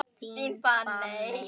Þín, Fanney.